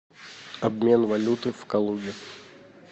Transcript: обмен валюты в калуге